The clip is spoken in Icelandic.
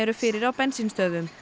fyrir á bensínstöðvum